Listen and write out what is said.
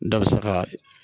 Da bɛ sa ka